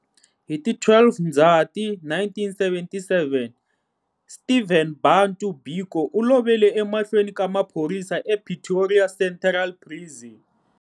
Hi ti 12 Ndzati 1977, Stephen Bantu Biko u lovele emahlweni ka maphorisa ePretoria Central Prison.